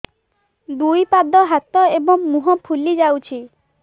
ଦୁଇ ପାଦ ହାତ ଏବଂ ମୁହଁ ଫୁଲି ଯାଉଛି